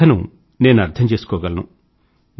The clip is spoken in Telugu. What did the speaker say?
మీ బాధను నేను అర్థం చేసుకోగలను